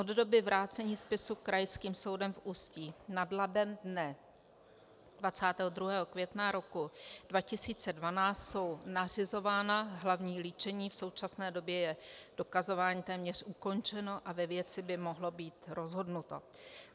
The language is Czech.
Od doby vrácení spisu Krajským soudem v Ústí nad Labem dne 22. května roku 2012 jsou nařizována hlavní líčení, v současné době je dokazování téměř ukončeno a ve věci by mohlo být rozhodnuto.